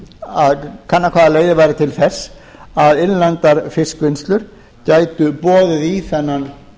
að kanna hvaða leiðir væru til þess að innlendar fiskvinnslur gætu boðið í þennan